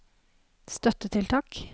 støttetiltak